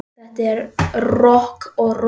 Þetta er rokk og ról.